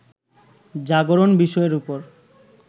জাগরণ বিষয়ের উপর